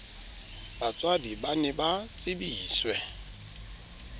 batswadi ba ne ba tsebiswe